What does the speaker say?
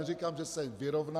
Neříkám, že se vyrovná.